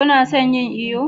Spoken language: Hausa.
ku na son yin iyo?